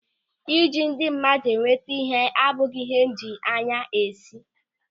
Ịji ndị mmadụ enweta ịhe abụghị ịhe m ji anya isi.